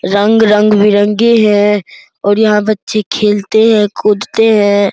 रंग रंग भी रंगे हैं और यहां बच्चे खेलते हैं कुदते हैं।